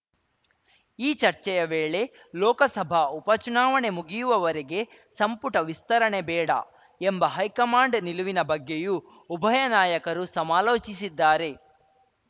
ಈ ಚರ್ಚೆಯ ವೇಳೆ ಲೋಕಸಭಾ ಉಪ ಚುನಾವಣೆ ಮುಗಿಯುವವರೆಗೆ ಸಂಪುಟ ವಿಸ್ತರಣೆ ಬೇಡ ಎಂಬ ಹೈಕಮಾಂಡ್‌ ನಿಲುವಿನ ಬಗ್ಗೆಯೂ ಉಭಯ ನಾಯಕರು ಸಮಾಲೋಚಿಸಿದ್ದಾರೆ